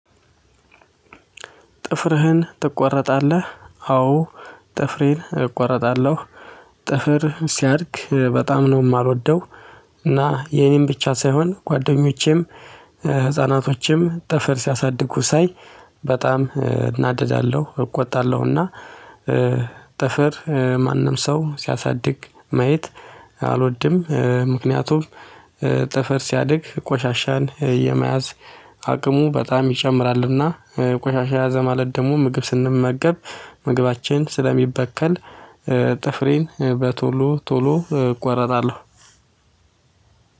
ጥፍርህን ትቆረጣለህ አዎ ጥፍሬን እቆረጣለሁ። ጥፍር ሲያድግ በጣም ነው ማልወደው። እና የኔን ብቻ ሳይሆን ጓደኞቼም ህፃናቶችም ጥፍር ሲያሳድጉ ሳይ በጣም እናደዳለሁ እቆጣለሁና። ጥፍር ማንም ሰው ሲያሳድግ ማየት አልወድም። ምክንያቱም ጥፍር ሲያድግ ቆሻሻን የመያዝ አቅሙ በጣም ይጨምራልና። ቆሻሻ ያዘ ማለት ደሞ ምግብ ስንመገብ ምግባችን ስለሚበከል። ጥፍሬን በቶሎ ቶሎ እቆረጣለሁ።